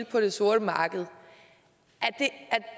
på det sorte marked